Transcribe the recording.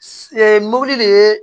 mobili de ye